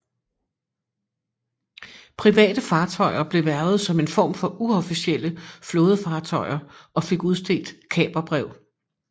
Private fartøjer blev hvervet som en form for uofficielle flådefartøjer og fik udstedt kaperbrev